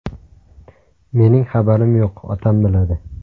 Mening xabarim yo‘q, otam biladi.